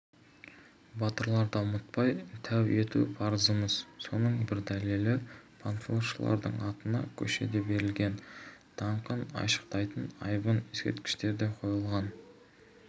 батырларды ұмытпай тәу ету парызымыз соның бір дәлелі панфиловшылардың атына көше де берілген даңқын айшықтайтын айбынды ескерткіштер де қойылған